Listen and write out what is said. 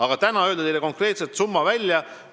Aga kas täna saan ma öelda teile konkreetse summa välja?